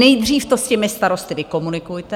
Nejdřív to s těmi starosty vykomunikujte.